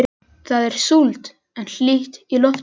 Það er súld en hlýtt í lofti.